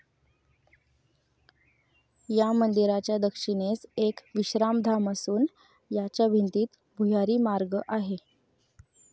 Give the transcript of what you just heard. या मंदिराच्या दक्षिणेस एक विश्रामधाम असून याच्या भिंतीत भुयारी मार्ग आहे.